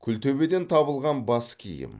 күлтөбеден табылған бас киім